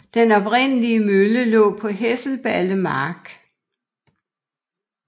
Den oprindelige mølle lå på Hesselballe Mark